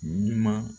Ɲuman